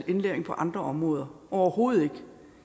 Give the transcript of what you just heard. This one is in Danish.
indlæring på andre områder overhovedet ikke